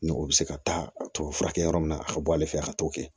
Ni o bɛ se ka taa tubabu furakɛ yɔrɔ min na a ka bɔ ale fɛ a ka t'o kɛ